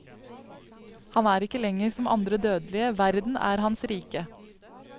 Han er ikke lenger som andre dødelige, verden er hans rike.